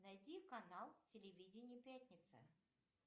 найти канал телевидение пятница